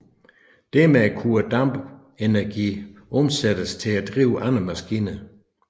Dermed kunne dampens energi omsættes til at drive andre maskiner